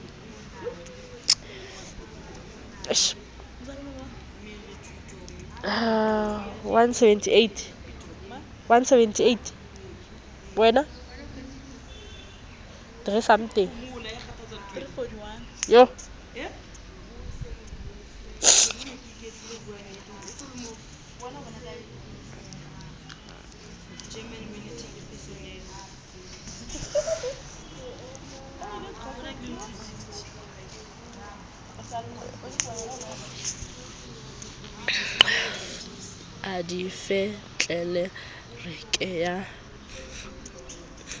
a di fe tlelereke ya